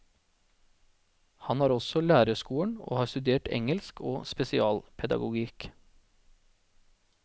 Han har også lærerskolen og har studert engelsk og spesialpedagogikk.